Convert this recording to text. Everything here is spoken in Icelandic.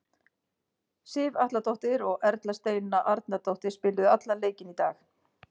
Sif Atladóttir og Erla Steina Arnardóttir, spiluðu allan leikinn í dag.